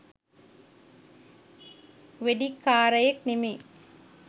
වෙඩික්කාරයෙක් නෙමෙයි.